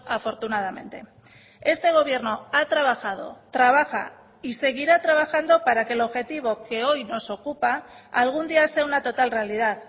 afortunadamente este gobierno ha trabajado trabaja y seguirá trabajando para que el objetivo que hoy nos ocupa algún día sea una total realidad